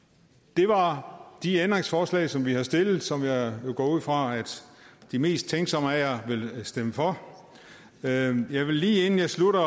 det var de ændringsforslag som vi havde stillet og som jeg jo går ud fra at de mest tænksomme af jer vil stemme for jeg vil lige inden jeg slutter